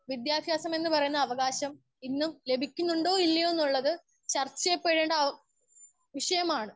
Speaker 1 വിദ്യഭ്യാസം എന്ന് പറയുന്ന അവകാശം ഇന്നും ലഭിക്കുന്നുണ്ടോ ഇല്ലയോ എന്നുള്ളത് ചർച്ച ചെയ്യപ്പെടേണ്ട വിഷയമാണ്.